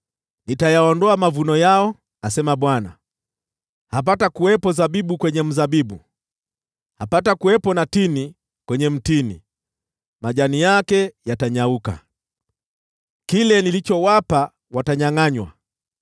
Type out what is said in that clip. “ ‘Nitayaondoa mavuno yao, asema Bwana . Hapatakuwepo zabibu kwenye mzabibu. Hapatakuwepo na tini kwenye mtini, majani yake yatanyauka. Kile nilichowapa watanyangʼanywa.’ ”